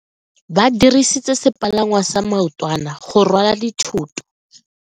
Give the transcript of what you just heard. Ba dirisitse sepalangwasa maotwana go rwala dithoto.